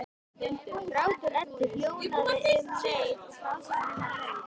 Grátur Eddu hljóðnaði um leið og frásögn hennar lauk.